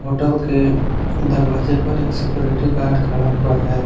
Hotel के दरवाजे पर एक सिक्योरिटी गार्ड खड़ा हुआ है।